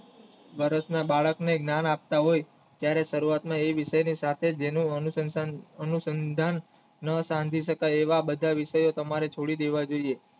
વર્ષના બાળકને જ્ઞાન આપતા હોય ત્યરે શરૂયાત એ વિષયની સાથે જેને અનુસંધાન સંધિ સ્કાય એવે બધા એવા વિષયો છોડી દેવા જોઇએ